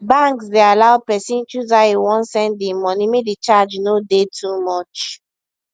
banks dey allow pesin choose how e wan send e money make the charge no dey too much